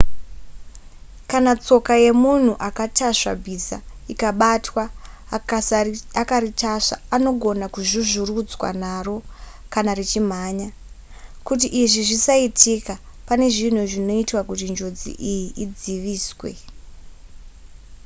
kana tsoka yemunhu akatasva bhiza ikabatwa akaritasva anogona kuzvuzvurudzwa naro kana richimhanya kuti izvi zvisaitika pane zvinhu zvinoitwa kuti njodzi iyi idziviswe